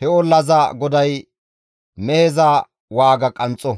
he ollaza goday meheza waaga qanxxo.